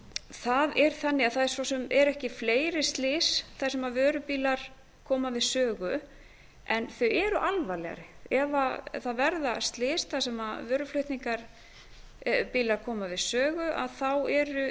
það er þannig að það svo sem eru ekki fleiri slys þar sem vörubílar koma við sögu en þau eru alvarlegri ef það verða slys þar sem vöruflutningabílar koma við sögu